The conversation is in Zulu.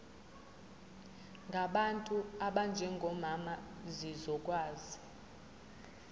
ngabantu abanjengomama zizokwazi